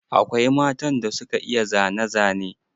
Akwai matan da suka iya zane zane.